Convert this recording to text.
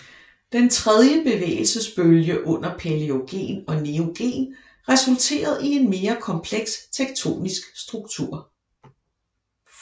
Den tredje bevægelsesbølge under paleogen og neogen resulterede i en mere kompleks tektonisk struktur